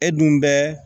E dun bɛ